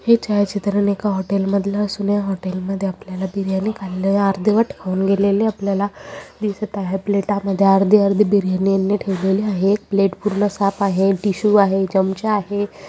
हे छायाचित्रण एका हॉटेल मधल असून या हॉटेल मध्ये आपल्याला बिर्याणी खाल्लेले अर्धवट खाऊन गेलेले आपल्याला दिसत आहेत प्लेटा मध्ये अर्धे अर्धे बिर्याणी यांनी ठेवलेली आहे प्लेट पूर्ण साफ आहे टिशू आहे चमचा आहे.